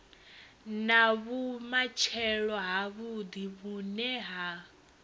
na vhumatshelo havhuḓi vhune ha